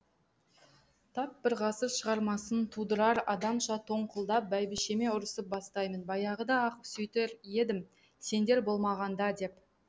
тап бір ғасыр шығармасын тудырар адамша тоңқылдап бәйбішеме ұрысып бастаймын баяғыда ақ сөйтер едім сендер болмағанда деп